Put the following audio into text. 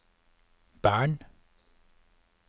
Bern